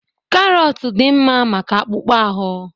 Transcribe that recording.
Karọt dị mma maka akpụkpọ ahụ.